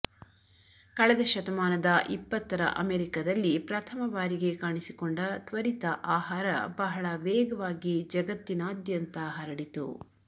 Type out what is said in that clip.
ಕಳೆದ ಶತಮಾನದ ಇಪ್ಪತ್ತರ ಅಮೆರಿಕದಲ್ಲಿ ಪ್ರಥಮ ಬಾರಿಗೆ ಕಾಣಿಸಿಕೊಂಡ ತ್ವರಿತ ಆಹಾರ ಬಹಳ ವೇಗವಾಗಿ ಜಗತ್ತಿನಾದ್ಯಂತ ಹರಡಿತು